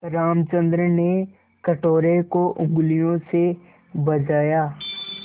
रामचंद्र ने कटोरे को उँगलियों से बजाया